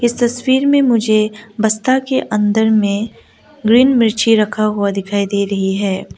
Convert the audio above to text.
इस तस्वीर में मुझे बस्ता के अंदर में ग्रीन मिर्ची रखा हुआ दिखाई दे रही है।